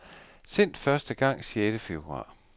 Sendt første gang sjette februar.